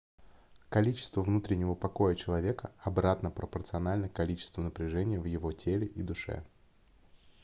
количество внутреннего покоя человека обратно пропорционально количеству напряжения в его теле и душе